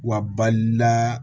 Wa balila